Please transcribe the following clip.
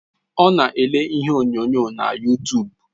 Ọ na ele ihe onyonyo na yutub